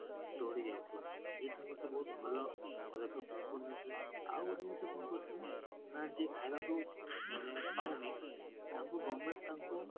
ଚଳି ଯାଉଥିଲେ, ଏଠୁ ଗୋଟେ ବହୁତ ଭଲ ହେଇଥିଲେ ଆଉ ଗୋଟେ ଜିନିଷ କଣ କହୁଥିଲେ ମାନେ ଯିଏ ଖାଇବାକୁ ଯିଏ ପାଉନି ତାକୁ government ତାଙ୍କୁ